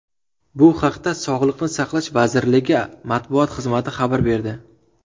Bu haqda Sog‘liqni saqlash vazirligi matbuot xizmati xabar berdi.